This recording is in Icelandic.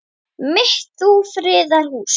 mitt þú friðar hús.